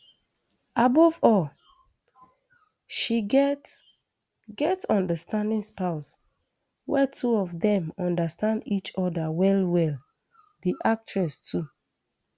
above all she get get understanding spouse wey two of dem understand each oda wellwell di actress too